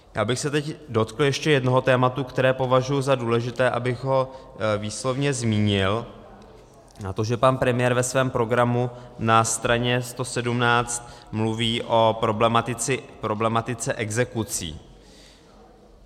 Já bych se teď dotkl ještě jednoho tématu, které považuji za důležité, abych ho výslovně zmínil, a to že pan premiér ve svém programu na straně 117 mluví o problematice exekucí.